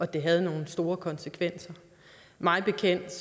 det havde nogle store konsekvenser mig bekendt